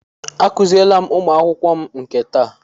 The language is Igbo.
Akuziele m ụmụ akwụkwọ m nke taa.